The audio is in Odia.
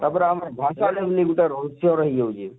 ତାପରେ ଆମର ଗାଁ କେ ଆଇଲେ ଇନେ ଗୁଟେ ରହସ୍ୟ ରହି ଯଉଛେ